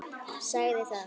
Sagði það.